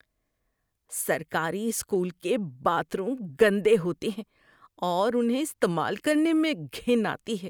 سرکاری اسکول کے bathroom گندے ہوتے ہیں اور انہیں استعمال کرنے میں گھن آتی ہے۔